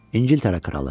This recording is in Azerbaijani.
İngiltərə kralı.